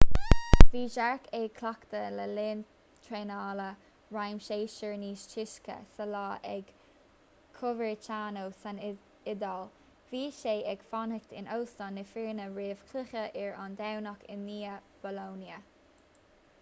bhí jarque ag cleachtadh le linn traenála réamhshéasúir níos túisce sa lá ag coverciano san iodáil bhí sé ag fanacht in óstán na foirne roimh chluiche ar an domhnach i ndiaidh bolonia